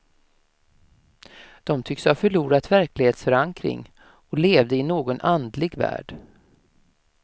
De tycks ha förlorat verklighetsförankring, och levde i någon andlig värld.